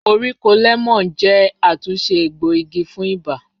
Koríko lẹmọọn jẹ atunṣe egboigi fun iba